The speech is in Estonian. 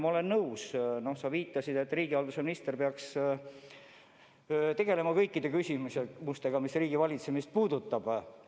Ma olen nõus, et nagu sa viitasid, riigihalduse minister peaks tegelema kõikide küsimustega, mis riigivalitsemist puudutavad.